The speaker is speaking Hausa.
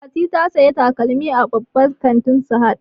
Fati ta saya takalmi a babban kantin sahad